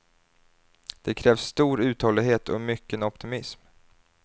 Det krävs stor uthållighet och mycken optimism.